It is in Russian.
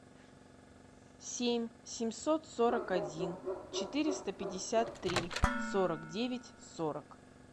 семь семьсот сорок один четыреста пятьдесят три сорок девять сорок